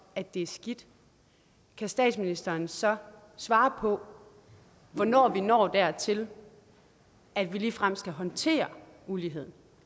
at det er skidt kan statsministeren så svare på hvornår vi når dertil at vi ligefrem skal håndtere uligheden